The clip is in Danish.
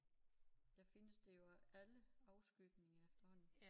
Der findes det jo i alle afskygninger efterhånden